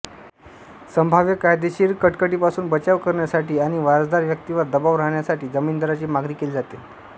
संभाव्य कायदेशीर कटकटीपासून बचाव करण्यासाठी आणि वारसदार व्यक्तीवर दबाव राहण्यासाठी जामीनदाराची मागणी केली जाते